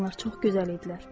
Onlar çox gözəl idilər.